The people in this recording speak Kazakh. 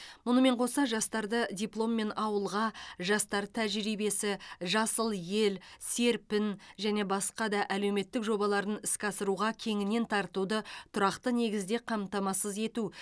мұнымен қоса жастарды дипломмен ауылға жастар тәжірибесі жасыл ел серпін және басқа да әлеуметтік жобаларын іске асыруға кеңінен тартуды тұрақты негізде қамтамасыз ету